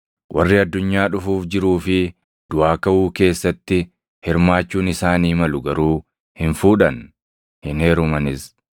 Warri addunyaa dhufuuf jiruu fi duʼaa kaʼuu keessatti hirmaachuun isaanii malu garuu hin fuudhan; hin heerumanis.